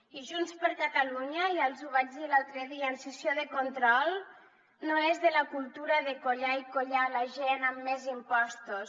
i junts per catalunya ja els ho vaig dir l’altre dia en sessió de control no és de la cultura de collar i collar la gent amb més impostos